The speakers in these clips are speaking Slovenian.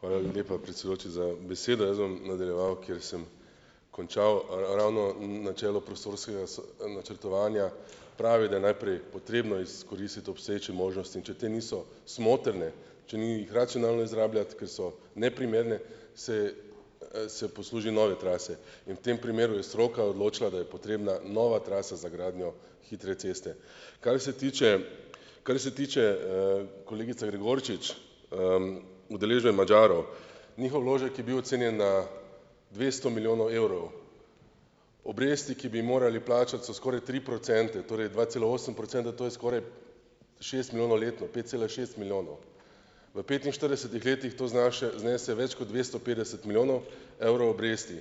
Hvala lepa, predsedujoči, za besedo. Jaz bom nadaljeval, kjer sem končal. Ravno, načelo prostorskega načrtovanja pravi, da je najprej potrebno izkoristiti obstoječe možnosti, in če te niso smotrne, če ni jih racionalno izrabljati, ker so neprimerne, se, se posluži nove trase in v tem primeru je stroka odločila, da je potrebna nova trasa za gradnjo hitre ceste. Kar se tiče, kar se tiče, kolegica Gregorčič, udeležbe Madžarov. Njihov vložek je bil ocenjen na dvesto milijonov evrov. Obresti, ki bi ji morali plačati, so skoraj tri procente, torej dva cela osem procentov, to je skoraj šest milijonov letno - pet cela šest milijonov. V petinštiridesetih letih to znaše znese več kot dvesto petdeset milijonov evrov obresti.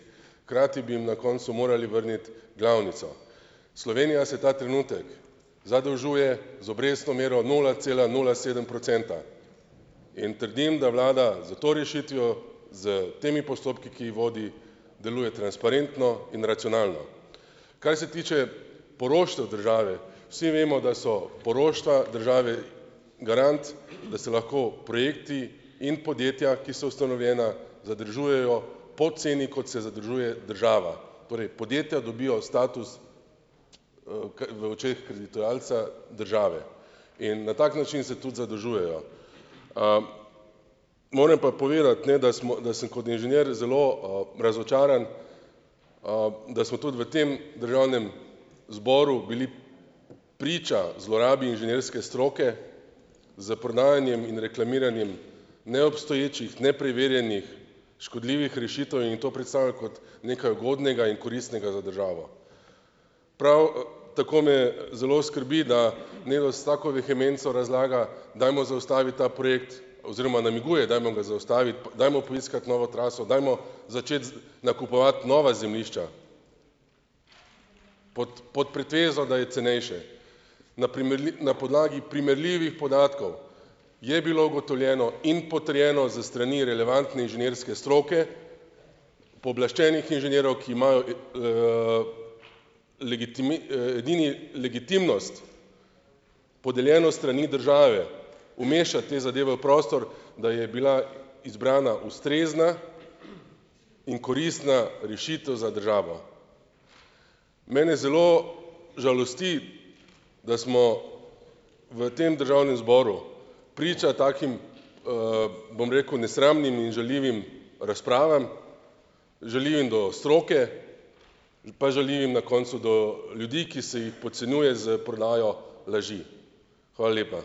Hkrati bi jim na koncu morali vrniti glavnico. Slovenija se ta trenutek zadolžuje z obrestno mero nula cela nula sedem procenta in trdim, da vlada, s to rešitvijo, s temi postopki, ki ji vodi, deluje transparentno in racionalno. Kaj se tiče poroštev države, vsi vemo, da so poroštva države garant, da se lahko projekti in podjetja, ki so ustanovljena, zadržujejo po ceni, kot se zadržuje država. Torej, podjetja dobijo status, v očeh "kreditodajalca", države, in na tak način se tudi zadolžujejo. moram pa povedati ne, da smo, da sem kot inženir zelo, razočaran, da smo tudi v tem državnem zboru bili priča zlorabi inženirske stroke, s prodajanjem in reklamiranjem neobstoječih, nepreverjenih, škodljivih rešitev in to predstavljali kot nekaj ugodnega in koristnega za državo. Prav, tako me zelo skrbi, da s tako vehemenco razlaga, dajmo zaustaviti ta projekt, oziroma namiguje, dajmo ga dajmo poiskati novo traso, dajmo začeti z nakupovati nova zemljišča, pod pod pretvezo, da je cenejše. Na na podlagi primerljivih podatkov je bilo ugotovljeno in potrjeno s strani relevantne inženirske stroke, pooblaščenih inženirjev, ki imajo, edini legitimnost, podeljeno s strani države, umeščati te zadeve v prostor, da je bila izbrana ustrezna in koristna rešitev za državo. Mene zelo žalosti, da smo v tem državnem zboru priča takim, bom rekel, nesramnim in žaljivim razpravam. Žaljivim do stroke, pa žaljivim na koncu do ljudi, ki se jih podcenjuje s prodajo laži. Hvala lepa.